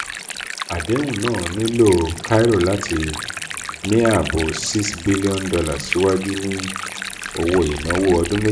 adehun naa nilo cairo lati ni aabo six billion dollars siwaju ni owo-inawo odun-meji.